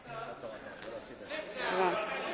Monsieur le Président, chers collègues.